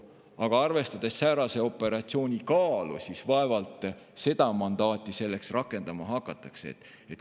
Aga arvestades säärase operatsiooni kaalu, vaevalt seda mandaati selleks rakendama hakatakse.